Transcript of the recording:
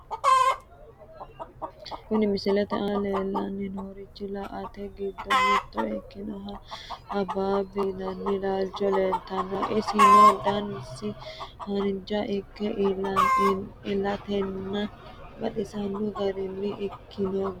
Kuni misilete aana leellanni noorichi laalote giddo mitto ikkinohu habaabi yinanni laalchi laalanno garaati, isino danasi haanja ikke illatenni baxisanno gara ikkino yaate.